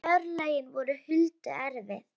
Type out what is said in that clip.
En örlögin voru Huldu erfið.